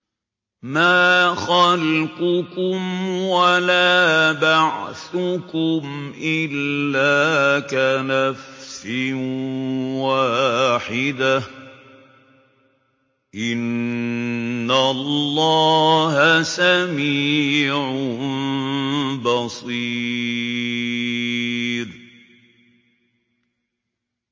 مَّا خَلْقُكُمْ وَلَا بَعْثُكُمْ إِلَّا كَنَفْسٍ وَاحِدَةٍ ۗ إِنَّ اللَّهَ سَمِيعٌ بَصِيرٌ